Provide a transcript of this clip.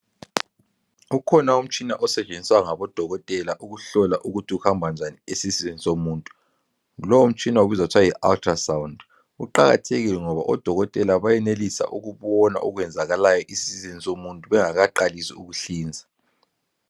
Ukhona umtshina osetshenziswa ngabodokotela ukuhlola ukuthi kuhamba njani esiswini somuntu lomtshina ubizwa kuthwa yi ultrasound uqakathekile ngoba odokotela benelisa ukubona okwenzakalayo esiswini somuntu bengakaqalisi ukuhlinza.